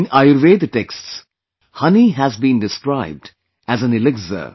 In Ayurveda texts, honey has been described as an elixir